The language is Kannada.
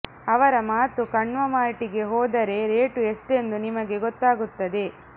ಅವರ ಮಾತು ಕಣ್ವ ಮಾರ್ಟಿಗೆ ಹೋದರೆ ರೇಟು ಎಷ್ಟೆಂದು ನಿಮಗೇ ಗೊತ್ತಾಗುತ್ತದೆ